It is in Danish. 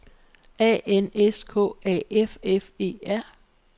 A N S K A F F E R